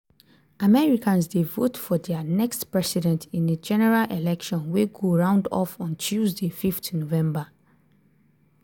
americans dey vote for dia next president in a general election wey go round off on tuesday 5 november.